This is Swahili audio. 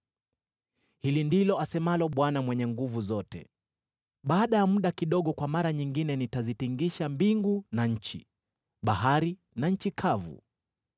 “Hili ndilo asemalo Bwana Mwenye Nguvu Zote: ‘Baada ya muda kidogo kwa mara nyingine nitazitikisa mbingu na nchi, bahari na nchi kavu.